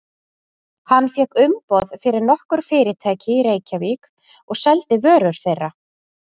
Hann fékk umboð fyrir nokkur fyrirtæki í Reykjavík og seldi vörur þeirra.